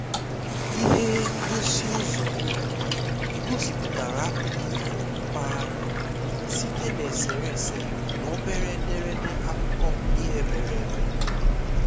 ihe ngosi uzo ulo gosipụtara akụkọ ifo mpaghara site na eserese na obere ederede akụkọ ihe mere eme